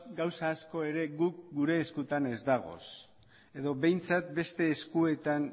gauza asko ere guk gure eskutan ez dagoz edo behintzat beste eskuetan